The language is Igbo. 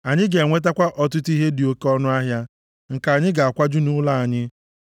Anyị ga-enwetakwa ọtụtụ ihe dị oke ọnụahịa, nke anyị ga-akwaju nʼụlọ anyị.